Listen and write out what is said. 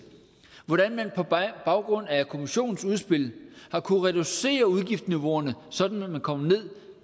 hvordan man på baggrund af kommissionens udspil har kunnet reducere udgiftsniveauerne sådan at man kommer ned